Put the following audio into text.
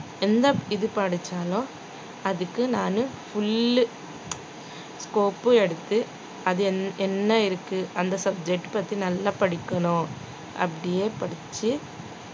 எந்த இது படிச்சாலும் அதுக்கு நானு full உ கோப்பு எடுத்து அது என்~ என்ன இருக்கு அந்த subject பத்தி நல்லா படிக்கணும் அப்படியே படிச்சு